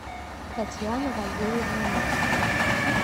татьяна валерьевна новикова